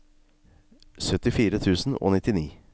syttifire tusen og nittini